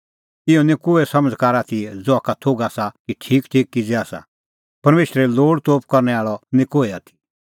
इहअ निं कोहै समझ़कार आथी ज़हा का थोघ आसा कि ठीक किज़ै आसा परमेशरे लोल़तोप करनै आल़अ निं कोहै आथी